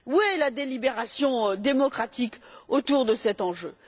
Où est la délibération démocratique autour de cet enjeu?